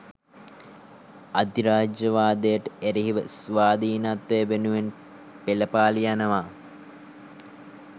අධිරාජ්‍යවාදයට එරෙහිව ස්වාධීනත්වය වෙනුවෙන් පෙළපාළි යනවා